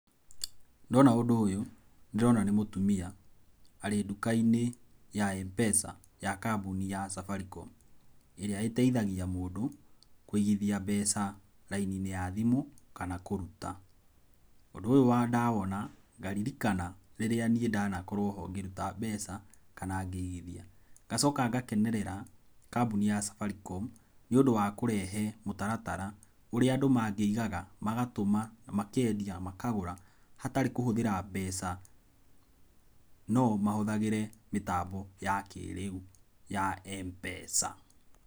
Ndona ũndũ ũyũ nĩ ndĩrona nĩ mũtumia arĩ nduka-inĩ ya M-pesa ya kambuni ya Safaricom ĩrĩa ĩteithagia mũndũ kũigithia mbeca raini-inĩ ya thimũ kana kũruta, ũndũ ũyũ ndawona ngaririkana rĩrĩa nĩe ndanakorwo ho ngĩruta mbeca kana ngĩigithia, ngacoka ngakenerera kambuni ya Safaricom nĩũndũ wa kũrehe mũtaratara ũrĩa andũ mangĩigaga magatũma, makendia, makagũra hatarĩ kũhũthĩra mbeca no mahũthagĩre mĩtambo ya kĩrĩu ya Mpesa.